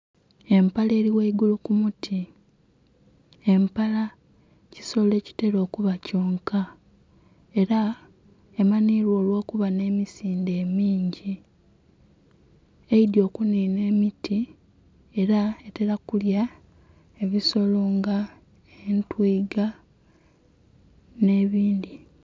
Empala eri ghaigulu ku muti empala ekisolo ekitela okuba kyonka era emanhibwa olwo kuba nhe misindhe emingi, eidhye okuninha emiti era etela kulya ebisolo nga etwiga nhe'bindhi.